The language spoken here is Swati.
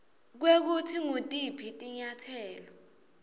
kwekutsi ngutiphi tinyatselo